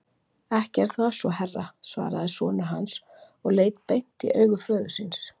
Ekki er það svo herra, svaraði sonur hans og leit beint í augu föður síns.